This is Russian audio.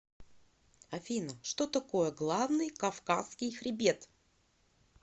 афина что такое главный кавказский хребет